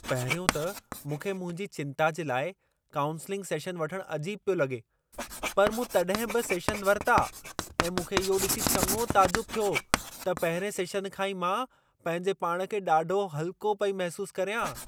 पहिरियों त मूंखे मुंहिंजी चिंता जे लाइ काऊंसिलिंग सेशन वठण अजीब पियो लॻे, पर मूं तॾहिं बि सेशन वरिता ऐं मूंखे इहो ॾिसी चङो ताजुब थियो त पहिरिएं सेशन खां ई मां पंहिंजे पाण खे ॾाढो हल्को पई महिसूस कर्यां।